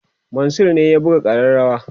Mansur ne ya buga kareawa